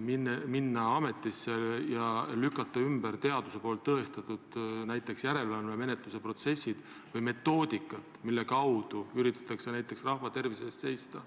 minna ametisse ja lükata ümber teaduslikult tõestatud järelevalvemenetluse protsesse või metoodikat, mille kaudu üritatakse näiteks rahva tervise eest seista.